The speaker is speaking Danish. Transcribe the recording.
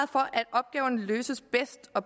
opgaverne løses bedst og